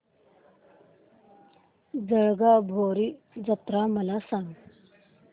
जळगाव भैरी जत्रा मला सांग